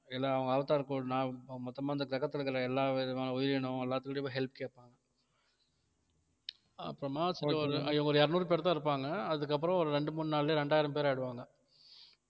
Avatar மொத்தமா இந்த கிரகத்துல இருக்கிற எல்லாவிதமான உயிரினம் எல்லாத்துக்கிட்டயும் போய் help கேப்பாங்க அப்புறமா ஒரு இருநூறு பேர் தான் இருப்பாங்க அதுக்கப்புறம் ஒரு ரெண்டு மூணு நாள்லயோ ரெண்டாயிரம் பேர் ஆயிடுவாங்க